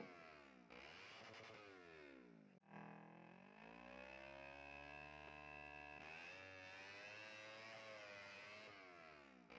Hugrún: Býstu við að dvelja í Reykjavík, eða ferðu út á land?